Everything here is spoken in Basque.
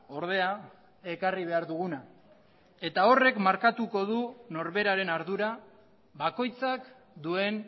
ordea ekarri behar duguna eta horrek markatuko du norberaren ardura bakoitzak duen